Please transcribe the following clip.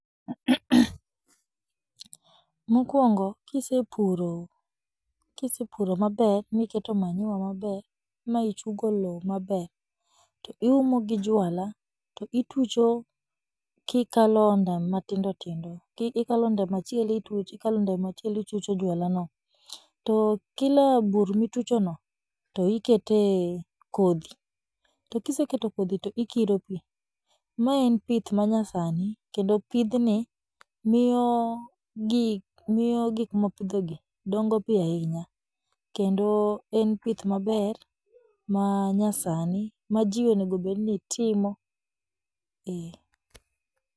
Mokwongo, kisepuro kisepuro maber miketo manure maber michungo loo maber to iumo gi jwala to itucho kikalo ondam matindo tindo ki ikalo ondam achiel itucho, ikalo ondam achiel itucho jwalano, to kila bur mituchono to ikete kodhi, to kiseketo kodhi to ikiro pii, maae en pith manyasani, kendo pidhni mniyo gi miyo gikmwapidhogi dongo piyo ahinya, kendo en pith maber manyasani ma jii onegobedni timo, eeh.